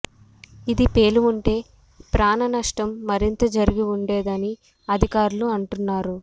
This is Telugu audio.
ఇది పేలి ఉంటే ప్రాణనష్టం మరింత జరిగి ఉండేదని అధికారులు అంటున్నారు